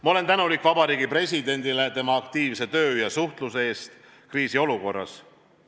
Ma olen tänulik Vabariigi Presidendile aktiivse töö ja suhtluse eest kriisiolukorras.